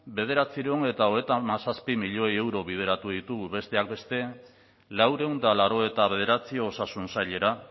bederatziehun eta hogeita zazpi milioi euro bideratu ditugu besteak beste laurehun eta laurogeita bederatzi osasun sailera